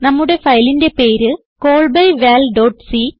നമ്മുടെ ഫയലിന്റെ പേര് callbyvalസി